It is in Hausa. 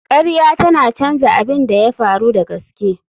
Ƙarya tana canza abin da ya faru da gaske.